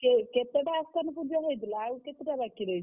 ~କେ କେତେଟା ଅସ୍ତାନ ପୁଜା ହେଇଥିଲା ଆଉ କେତେ ଟା ବାକି ରହିଛି?